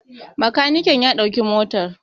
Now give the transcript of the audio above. Bakaniken ya ɗauki motar